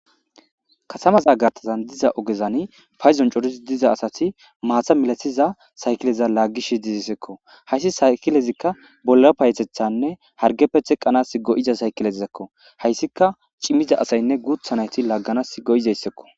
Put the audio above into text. Katamaza gartazan diza ogezani payzon corisi diza asati maatha milatiza saykileza laaggis shidizisekko hayssi saykilezikka bolla payetethanne hargeppe theqqanas go'iza saykilezizakko hayssika cimmiza asaynne guuthanayti laagganas go'izayssekko.